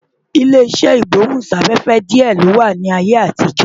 Ilé iṣẹ́ ìgbóhún-sáfẹ́fẹ́ díẹ̀ ló wà ní ayé àtijọ́